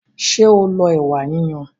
Ṣé o lo ẹ̀wà yiyan?